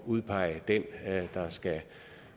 udpege den der skal